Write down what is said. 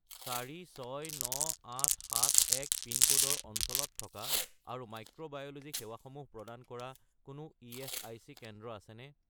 469871 পিনক'ডৰ অঞ্চলত থকা আৰু মাইক্ৰোবায়'লোজি সেৱাসমূহ প্ৰদান কৰা কোনো ইএচআইচি কেন্দ্ৰ আছেনে?